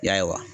Ya